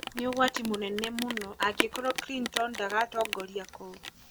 Nĩ ũgwati mũnene mũno angĩkorũo Clinton ndagatongoria kũu.